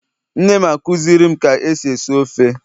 nnem akuzirim ka esi esi ofe